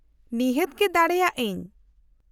-ᱱᱤᱦᱟᱹᱛ ᱜᱮ ᱫᱟᱲᱮᱭᱟᱜ ᱟᱹᱧ ᱾